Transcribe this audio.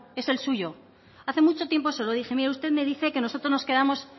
es el suyo hace mucho tiempo se lo dije mire usted me dice que nosotros nos quedamos